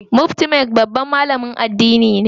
Mufti Menk babban malamin addini ne.